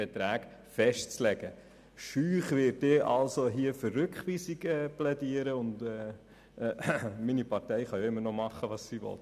Mit etwas Scheu werde ich also für Rückweisung plädieren, und meine Partei kann immer noch tun, was sie will.